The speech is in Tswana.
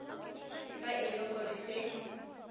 fa e le gore se